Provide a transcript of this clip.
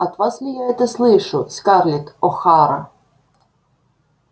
от вас ли я это слышу скарлетт охара